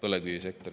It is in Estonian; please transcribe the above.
Aitäh!